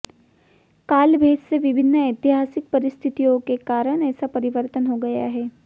काल भेद से विभिन्न ऐतिहासिक परिस्थितियों के कारण ऐसा परिवर्तन हो गया है